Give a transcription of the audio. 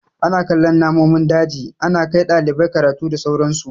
Ana kallon namomin daji, ana kai ɗalibai karatu da sauran su.